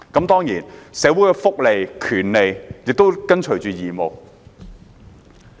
當然，社會的福利和權利亦伴隨着義務。